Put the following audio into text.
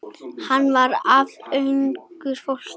Hann var af engu fólki.